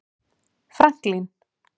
Franklín